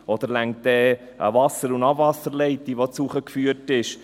Oder reicht dann eine Wasser- und Abwasserleitung, die zugeführt wird?